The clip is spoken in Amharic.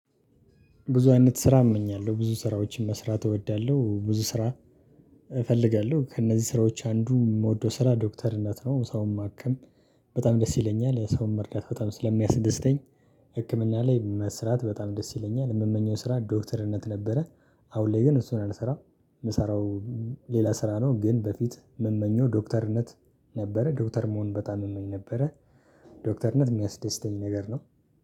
ብዙ አይነት ስራ እመኛለሁ። ብዙ ስራዎችን መስራት እወዳለሁ። ብዙ ስራ እፈልጋለሁ፤ ከእነዚህ ስራዎች አንዱ የምወደው ስራ ዶክተርነት ነው፤ ሰውን ማከም በጣም ደስ ይለኛል። ሰውን መርዳት በጣም ስለሚያስደስተኝ። ህክምና ላይ መስራት በጣም ደስ ይለኛል። የምመኘው ስራ ዶክተርነት ነበረ። አሁን ላይ ግን እሱን አልሰራ፤ የምሰራው ሌላ ስራ ነው። ግን በፊት መመኘው ዶክተርነት ነበ፤ ዶክተር መሆን በጣም መመኘው ነበረ። ዶክተርነት የሚያስደስተኝ ነገር ነው